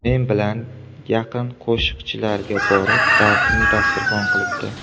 Men bilan yaqin qo‘shiqchilarga borib dardini dasturxon qilibdi.